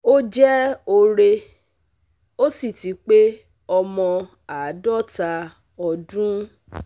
ó jẹ́ òre, ó sì ti pé ọmọ àádọ́ta ọdún